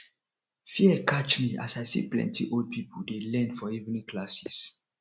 fear catch me as i see plenty old people dey learn for evening classes